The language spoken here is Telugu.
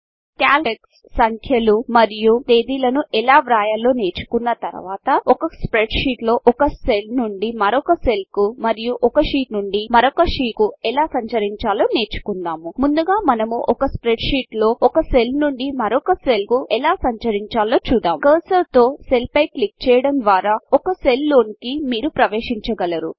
కాల్క్లోటెక్స్ట్ సంఖ్యలు మరియు తేదీలను ఎలా వ్రాయాలో నేర్చుకున్న తరువాత ఒక స్ప్రెడ్షీట్లో ఒక సెల్నుండి మరొక సెల్కు మరియు ఒక షీట్నుండి మరొక షీట్నకు ఎలా సంచరించాలో నేర్చుకుందాము ముందుగా మనము ఒక స్ప్రెడ్షీట్లో ఒక సెల్ నుండి మరొక సెల్కు ఎలా సంచరించాలో చూద్దాం కర్సర్తోసెల్పైక్లిక్చేయడముద్వారాఒకసెల్లోనికిమీరుప్రవేశించగలరు